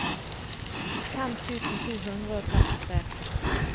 fem tusen to hundre og trettitre